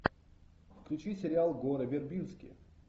включи сериал гора вербински